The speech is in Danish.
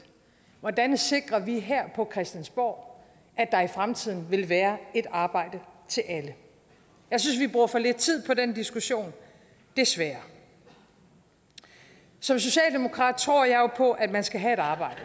hvordan sikrer vi her fra christiansborg at der i fremtiden vil være et arbejde til alle jeg synes vi bruger for lidt tid på den diskussion desværre som socialdemokrat tror jeg jo på at man skal have et arbejde